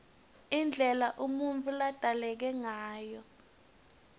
indlela umuntfu ladzaleke ngayo